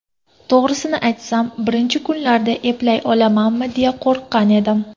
To‘g‘risini aytsam, birinchi kunlarda eplay olamanmi, deya qo‘rqqan edim.